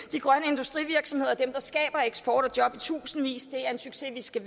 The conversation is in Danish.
de grønne industrivirksomheder er dem der skaber eksport og job i tusindvis det er en succes vi skal